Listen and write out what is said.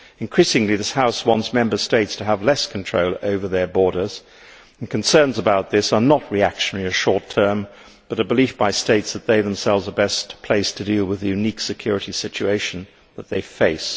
Increasingly this House wants Member States to have less control over their borders, and concerns about this are not reactionary or short term but a belief by states that they themselves are best placed to deal with the unique security situation that they face.